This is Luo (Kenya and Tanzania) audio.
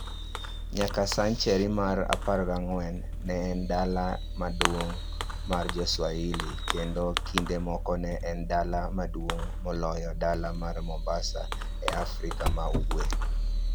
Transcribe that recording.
Nyaka a senchari mar 14, ne en dala maduong' mar Jo-Swahili, kendo kinde moko ne en dala maduong' moloyo dala mar Mombasa e Afrika ma Ugwe.